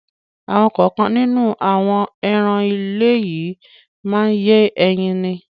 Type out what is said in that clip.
Àwọn kọ̀ọ̀kan nínú àwọn ẹran ilé yìí má ń yé ẹyin ni.